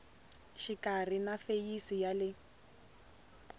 xikarhi na feyisi ya le